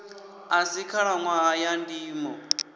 a si khalaṋwaha ya ndimo